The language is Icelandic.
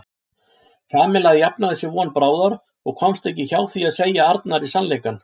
Kamilla jafnaði sig von bráðar og komst ekki hjá því að segja Arnari sannleikann.